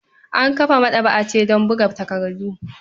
An kafa maɗaba'a ce don buga takardu.